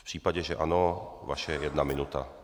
V případě, že ano, vaše jedna minuta.